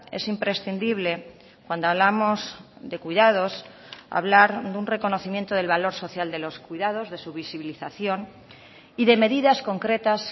es imprescindible cuando hablamos de cuidados hablar de un reconocimiento del valor social de los cuidados de su visibilización y de medidas concretas